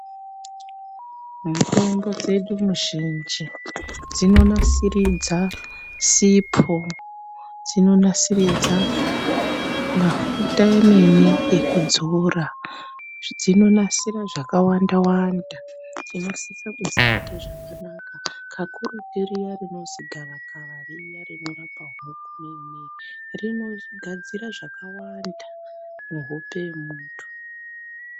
Mutombo dzedu muzhinji dzinonasiridza sipho, dzinonasiridza mafuta emene ekudzora, dzinonasira zvakawandawanda. Tinosisa kudzibata zvakanaka, kakurutu riya rinozi gavakava riya rinorapa huku nei nei, rinogadzira zvakawanda muhope yemuntu.